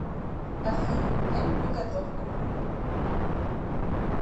афина я люблю готовку